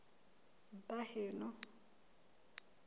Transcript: baheno